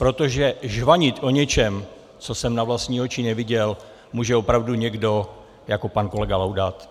Protože žvanit o něčem, co jsem na vlastní oči neviděl, může opravdu někdo jako pan kolega Laudát.